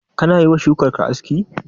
Kana yiwa shukar ka aski?